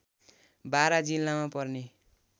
बारा जिल्लामा पर्ने